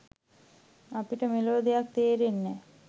අපිට මෙලෝ දෙයක් තේරෙන්නේ නෑ